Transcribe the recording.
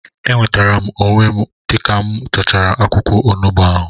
Enwetere m onwe m dịka mụ tachara akwụkwọ onugbu ahụ